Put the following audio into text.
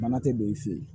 Mana tɛ don i fɛ yen